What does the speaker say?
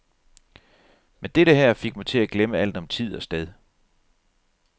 Men dette her fik mig til at glemme alt om tid og sted.